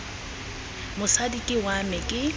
mosadi ke wa me ke